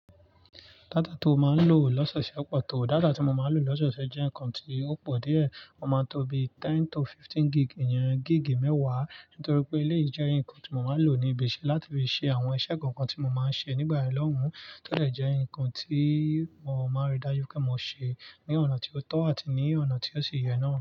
Data tí ó máa ń lò lọ́sọ̀ọ̀ṣẹ̀ pọ̀ tó, data tí mo máa ń lò lọ́sọ̀ọ̀ṣẹ̀ jẹ́ ǹkan tí ó pọ̀ díẹ̀, o máa ń tóbi ten to fifteen gig, yẹn gig mẹ́wàá nítorí pé eleyií jẹ́ ǹkan tí mo máa ń lò ní ibi iṣẹ́ láti fi ṣe àwọn iṣẹ́ kan kan tí mo máa ń ṣe nígbà yen lọ́hùn, tó de jé ǹkan tí wọ́n máa rí dájú pé mo ṣe ní ọ̀nà tí ó tọ́ àti ní ọ̀nà tí ó ṣe yẹ náà.